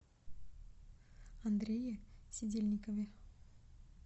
андрее сидельникове